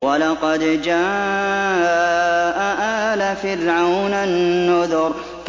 وَلَقَدْ جَاءَ آلَ فِرْعَوْنَ النُّذُرُ